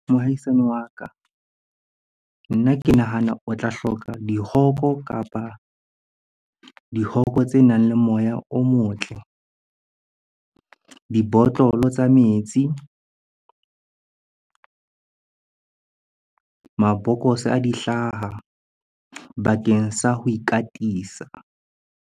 Mohaisane wa ka, nna ke nahana o tla hloka dihoko kapa dihoko tsenang le moya o motle. Dibotlolo tsa metsi, mabokose a di hlaha bakeng sa ho ikatisa.